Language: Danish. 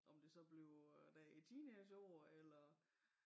Om det så bliver dér i teenage år eller